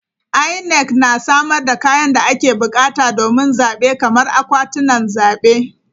INEC ta samar da kayan da ake bukata domin zabe kamar akwatunan zabe.